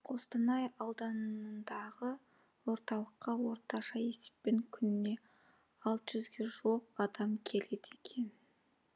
қостанай ауданындағы орталыққа орташа есеппен күніне алты жүзге жуық адам келеді екен